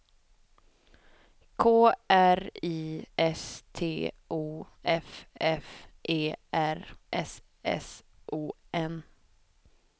K R I S T O F F E R S S O N